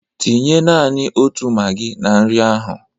Tinye nani otu magị na nri ahụ!